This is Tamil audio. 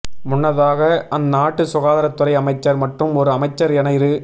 முன்னதாக அந்நாட்டு சுகாதரத்துறை அமைச்சர் மற்றும் ஒரு அமைச்சர் என இரு